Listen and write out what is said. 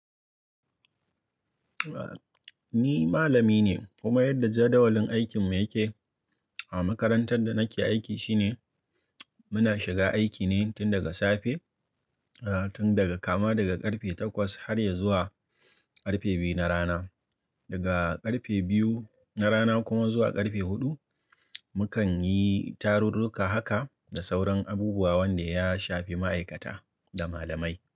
Ni malami ne kuma yadda jadawalin aikin mu yake a makarantar da nake aiki shine muna shiga aiki ne tun daga safe, tun daga kama daga ƙarfe takwas har ya zuwa ƙarfe biyu na rana. Daga ƙarfe biyu na rana kuma zuwa ƙarfe huɗu, mukan yi tarurruka haka da sauran abubuwa wanda ya shafi ma'aikata da malamai.